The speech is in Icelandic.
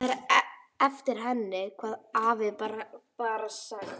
Það er eftir henni, hafði afi bara sagt.